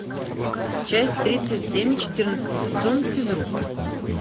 часть тридцать семь четырнадцатый сезон физрук